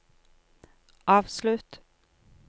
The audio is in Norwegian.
avslutt